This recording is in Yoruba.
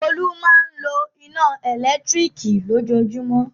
Olú máa ń lo iná ẹ̀lẹ́tíríkì lójoojúmọ́.